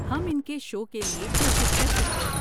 ہم ان کے شو کے لیے کوشش کر سکتے ہیں۔